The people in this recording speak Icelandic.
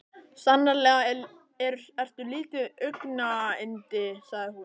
Sannarlega ertu lítið augnayndi sagði hún.